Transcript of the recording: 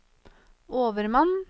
overmann